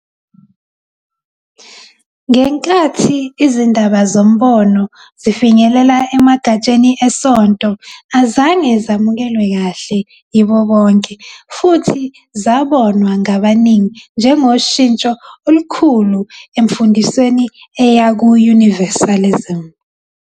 Ngenkathi izindaba "zoMbono" zifinyelela emagatsheni esonto, azange zamukelwe kahle yibo bonke futhi zabonwa ngabaningi njengoshintsho olukhulu emfundisweni eya ku-Universalism.